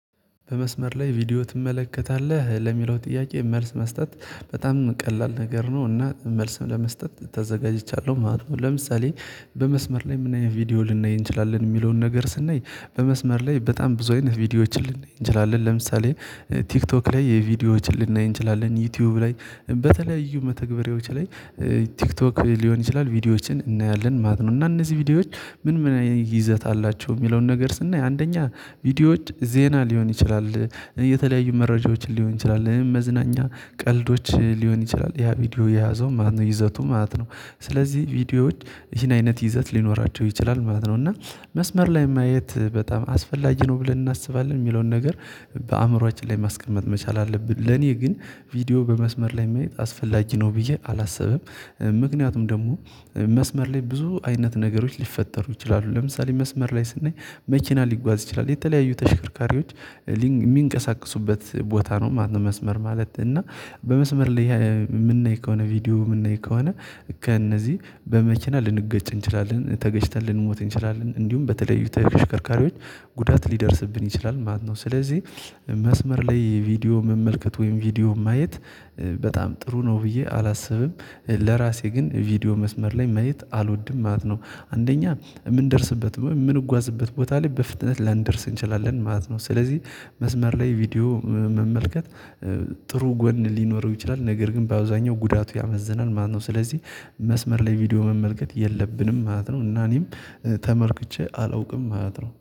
በመስመር ላይ ቪዲዮ ትመለከታለህ ለሚለው ጥያቄ መልስ መስጠት በጣም ቀላል ነገር ነው እና መልስም ለመስጠት ተዘጋጅቻለሁ ማለት ነው ለምሳሌ በመስመር ላይ ምን አይነት ቪዲዮ ልንናይ እንችላለን የሚለውን ነገር ስናይ በመስመር ላይ በጣም ብዙ አይነት ቪዲዮዎችን ልናይ እንችላለን ለምሳሌ ቲክቶክ ላይ የቪዲዮዎችን ልናይ እንችላለን ዩቲዩብ ላይ በተለያዩ መተግበሪያዎች ላይ ቲክቶክ ሊሆን ይችላል ቪዲዮዎችን እናያለን ማለት ነው እና እነዚህ ቪዲዮዎች ምን ምን ይዘት አላቸው የሚለውን ነገር ስናይ አንደኛ ቪዲዮዎች ዜና ሊሆን ይችላል የተለያዩ መረጃዎችን ሊሆን ይችላል መዝናኛ ቀልዶች ሊሆን ይችላል ያ ቪዲዮ የያዘው ማነው ይዘቱ ማለት ነው ስለዚህ ቪዲዮዎች ይሄን አይነት ይዘት ሊኖራቸው ይችላል ማለት ነው እና መስመር ላይ ማየት በጣም አስፈላጊ ነው ብለን እናስባለን የሚለውን ነገር በአእምሮአችን ላይ ማስቀመጥ መቻል አለብን ለኔ ግን ቪዲዮ በመስመር ላይ ማየት አስፈላጊ ነው ብዬ አላሰብም፤ ምክንያቱም ደግሞ መስመር ላይ ብዙ አይነት ነገሮች ሊፈጠሩ ይችላሉ ለምሳሌ መስመር ላይ ስናይ መኪና ሊጓዝ ይችላል የተለያዩ ተሽከርካሪዎች የሚንቀሳቀሱበት ቦታ ነው ማለት ነው መስመር ማለት እና በመስመር ላይ የምናይ ከሆነ ቪዲዮ የምናይ ከሆነ ከእነዚህ በመኪና ልንገጭ እንችላለን ተገጭተን ልንሞት እንችላለን እንዲሁም በተለዩ ተሽርካሪዎች ጉዳት ሊደርስብን ይችላል ማለት ነው ስለዚህ መስመር ላይ ቪዲዮ መመልከት ወይም ቪዲዮ ማየት በጣም ጥሩ ነው ብዬ አላስብም ለራሴ ግን ቪዲዮ መስመር ላይ ማየት አልወድም ማለት ነው አንደኛ የምንደርስበት ወይ የምንጓዝበት ቦታ ላይ በፍጥነት ላንደርስ እንችላለን ማለት ነው ስለዚህ መስመር ላይ ቪዲዮ መመልከት ጥሩ ጎን ሊኖረው ይችላል ነገር ግን በአውዛኛው ጉዳቱ ያመዝናል ማነው ስለዚህ መስመር ላይ ቪዲዮ መመልከት የለብንም ማለት ነው እና እኔም ተመልክቼ አላውቅም ማለት ነው።